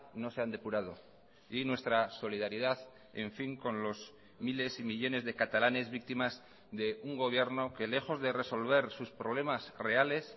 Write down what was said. no se han depurado y nuestra solidaridad en fin con los miles y millónes de catalanes víctimas de un gobierno que lejos de resolver sus problemas reales